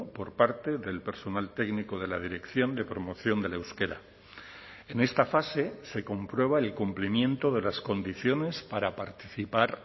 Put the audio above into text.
por parte del personal técnico de la dirección de promoción del euskera en esta fase se comprueba el cumplimiento de las condiciones para participar